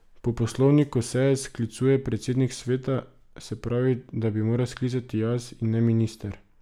Po poslovniku seje sklicuje predsednik sveta, se pravi, da bi jo moral sklicati jaz, in ne minister.